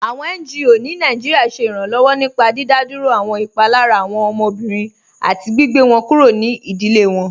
Awọn NGO ni Nàìjíríà ṣẹ iranlọwọ nípá dídádúró awọn ipalara awọn ọmọbìrín àti gbìgbẹ̀ wọn kúrò ní ìdílé wọn.